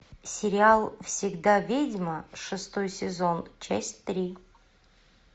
сериал всегда ведьма шестой сезон часть три